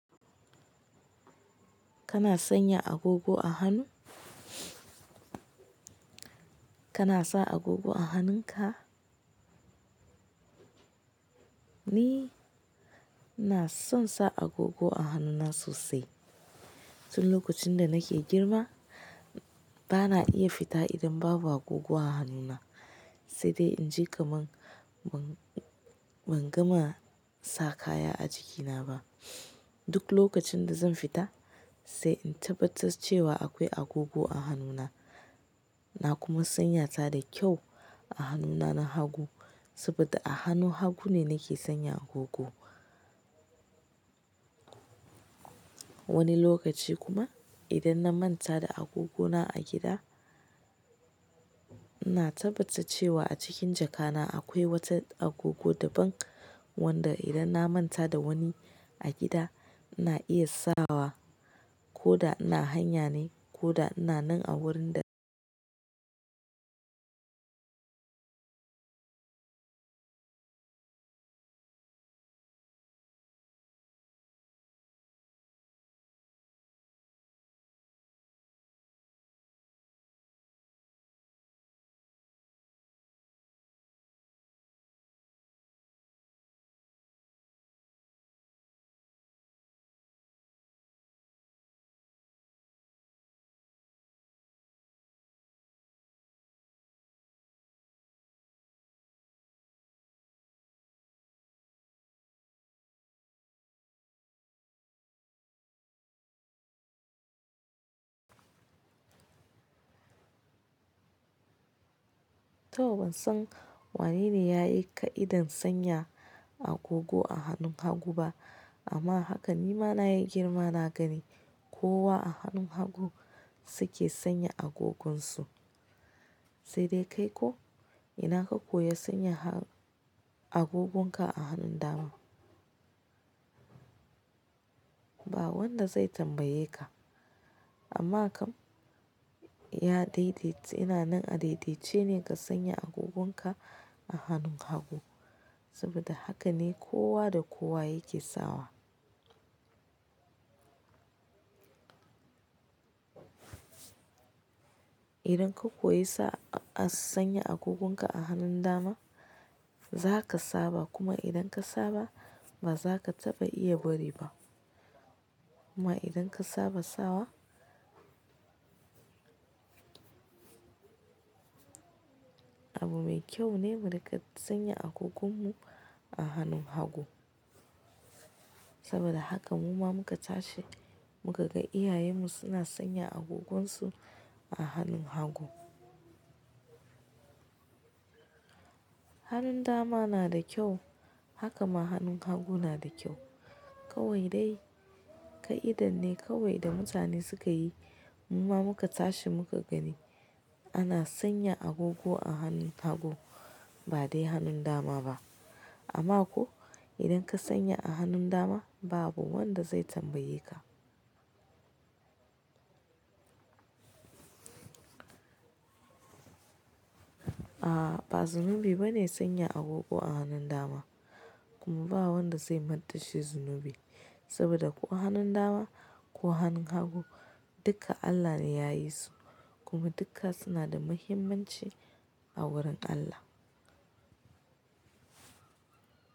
Kana sanya agogo a hanu? Kana sa agogo a hannunka? Ni na son sa agogo a hannuna sosai. Tun lokacin da nake girma bana iya fita idan babu agogo a hannuna, sai dai inji kamar ban gama sa kaya a jikina ba. Duk lokacin da zan fita, sai in tabbatar cewa akwai agogo a hannuna. Na kuma sanya ta da kyau a hannuna na hagu saboda a hannun hagu ne nake sanya agogo. Wani lokaci kuma idan na manta da agogona a gida, ina tabbatar cewa a cikin jakana akwai wata agogo daban wadda idan na manta da wani a gida na iya sawa ko da ina hanya ne ko da ina nan a wurin da to ban san wane ne ya yi ƙa'idan sanya agogo a hannun hagu ba amma haka ni ma na yi girma na gani kowa a hannun hagu su ke sanya agogonsu. Sai dai kai ko ina ka koya sanya agogonka a hannun dama? Ba wanda zai tambaye ka amma kam ya daidai ina nan a daidai ce ne ka sanya agogonka a hannun hagu saboda haka ne kowa da kowa yake sawa. Idan ka koyi sa sanya agogonka a hannun dama za ka saba kuma idan ka saba ba za ka taɓa iya bari ba kuma idan ka saba sawa abu mai kyau ne mu riƙa sanya agogonmu a hannun hagu saboda haka mu ma muka tashi muka ga iyayenmu suna sanya agogonsu a hannun hagu. Hannun dama na da kyau haka ma hannun hagu na da kyau. Kawai dai ƙa'idar ne kawai da mutane suka yi mu ma muka tashi muka gani ana sanya agogo a hannun hagu ba dai hannun dama ba. Amma ko idan ka sanya a hannun dama babu wanda zai tambaye ka. A'a ba zunubi bane sanya agogo a hannun dama kuma ba wanda zai manta shi zunubi saboda ko hannun dama ko hannun hagu dukka Allah ne ya yi su kuma dukka suna da muhimmanci a wurin Allah.